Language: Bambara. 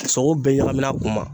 sogo bɛɛ ɲagamin'a kun ma.